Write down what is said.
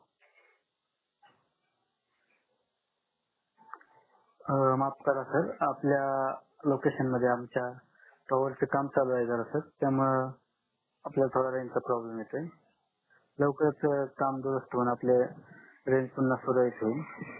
अं माफ करा सर आपल्या लोकेशन मध्ये यांच्या टावर च काम चालू आहे जरा सर त्यामुद आपल्याला रेंज चा प्रॉब्लेम येतंय लवकरच काम दुरुस्त होऊन आपले रेंज पुन्हा सुरडित होईल